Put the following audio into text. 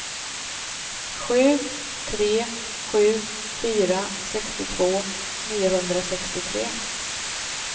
sju tre sju fyra sextiotvå niohundrasextiotre